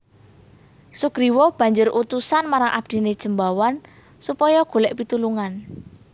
Sugriwa banjur utusan marang abdiné Jembawan supaya golèk pitulungan